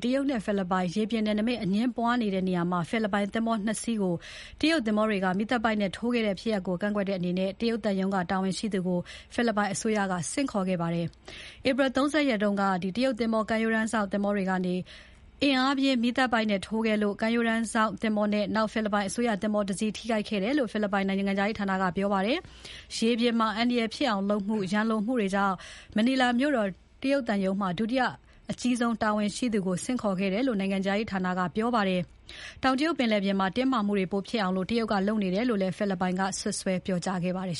တရုတ်နဲ့ ဖိလစ်ပိုင် ရေပြင်နယ်နိမိတ် ပိုင်နက်အငြင်းပွားနေတဲ့ နေရာမှာ ဖိလစ်ပိုင်သင်္ဘော ၂ စီးကို တရုတ်သင်္ဘောက မီးသတ်ပိုက်နဲ့ ထိုးခဲ့တဲ့ ဖြစ်ရပ်ကို ကန့်ကွက်တဲ့အနေနဲ့ တရုတ်သံရုံးတာဝန်ရှိသူကို ဖိလစ်ပိုင်အစိုးရက ဆင့်ခေါ်ခဲ့ပါတယ်။ ဧပြီ ၃၀ ရက်က တရုတ်သင်္ဘောကမ်းရိုးတမ်စောင့် သင်္ဘောတွေကနေ အင်အားပြင်း မီးသတ်ပိုက်နဲ့ ထိုးခဲ့လို့ ကမ်းရိုးတမ်းစောင့်သင်္ဘောနဲ့ ဖိလစ်ပိုင်အစိုးရသင်္ဘောတစီး ထိခိုက်ခဲ့တယ်လို့ ဖိလစ်ပိုင်နိုင်ငံခြားရေးဌာနက ပြောပါတယ်။ ရေပြင်မှာ အန္တရာယ်ဖြစ်အောင်လုပ်မှု၊ ရန်လိုမှုတွေကြောင့် မနီလာမြို့တော် တရုတ်သံရုံးမှာ ဒုတိယအကြီးဆုံး တာဝန်ရှိသူ Zhou Zhiyong ကိုဆင်ခေါ်ခဲ့တယ်လို့ နိုင်ငံခြားရေးဌာက ပြောပါတယ်။ တောင်တရုတ်ပင်လယ်ထဲမှာ တင်းမာမှုတွေ ပိုဖြစ်အောင် တရုတ်က လုပ်နေတယ်လို့ ဖိလစ်ပိုင်ဘက်က စွပ်စွဲပြောကြားခဲ့ပါတယ်